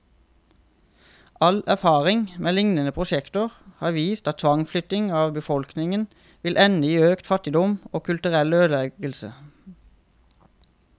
All erfaring med lignende prosjekter har vist at tvangsflytting av befolkningen vil ende i økt fattigdom, og kulturell ødeleggelse.